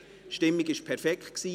die Stimmung war perfekt.